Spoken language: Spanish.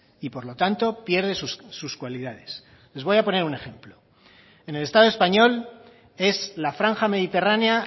y por lo tanto pierde sus cualidades les voy a poner un ejemplo en el estado español es la franja mediterránea